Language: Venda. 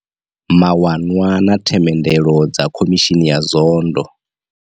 Mawanwa na themendelo dza khomishini ya Zondo.